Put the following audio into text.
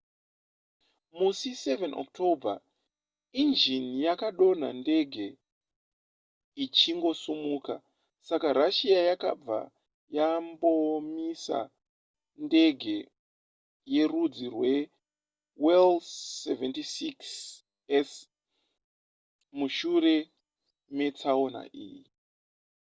musi 7 october injini yakadonha ndege ichingosimuka saka russia yakabva yambomisa ndege yerudzi rweil-76s mushure metsaona iyi